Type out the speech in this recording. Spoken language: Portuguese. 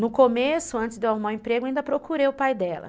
No começo, antes de eu arrumar o emprego, ainda procurei o pai dela.